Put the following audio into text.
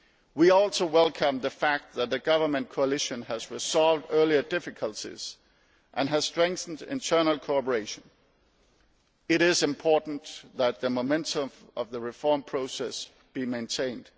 We also welcome the fact that the government coalition has resolved earlier difficulties and has strengthened internal cooperation. It is important that the momentum of the reform process be maintained.